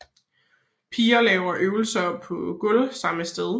Piger laver øvelser på gulv samme sted